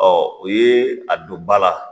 o ye a don ba la